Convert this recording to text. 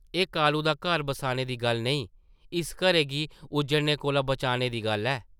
एह् कालू दा घर बसाने दी गल्ल नेईं, इस घरै गी उज्जड़ने कोला बचाने दी गल्ल ऐ ।